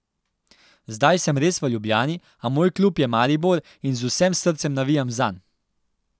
Zdaj sem res v Ljubljani, a moj klub je Maribor in z vsem srcem navijam zanj.